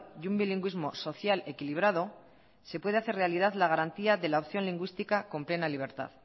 y un bilingüismo social equilibrado se puede hacer realidad la garantía de la opción lingüística con plena libertad